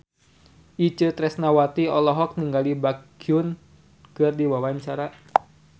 Itje Tresnawati olohok ningali Baekhyun keur diwawancara